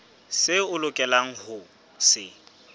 seo o lokelang ho se